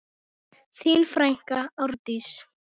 Þín frænka Árdís.